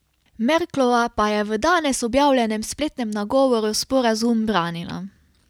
Merklova pa je v danes objavljenem spletnem nagovoru sporazum branila.